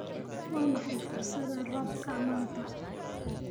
Waa maxay fursadda roobka maanta?